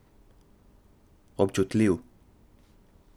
Občutljiv.